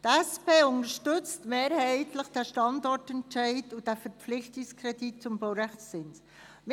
Die SP unterstützt den Standortentscheid und den Verpflichtungskredit zum Baurechtszins mehrheitlich.